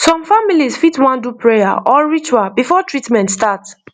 some families fit wan do prayer or ritual before treatment start